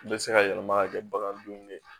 Bɛɛ bɛ se ka yɛlɛma ka kɛ bagan dun ye